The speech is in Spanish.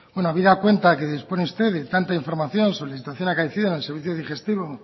habida cuenta que dispone usted de tanta información solicitación acaecida en el servicio digestivo